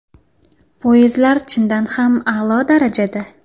Poyezdlar chindan ham a’lo darajada.